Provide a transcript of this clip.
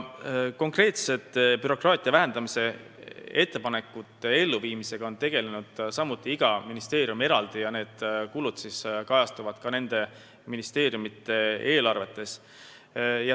Konkreetselt bürokraatia vähendamise ettepanekute elluviimisega on tegelenud samuti iga ministeerium eraldi ja need kulud kajastuvad nende ministeeriumide eelarves.